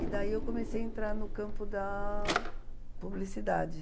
E daí eu comecei a entrar no campo da publicidade.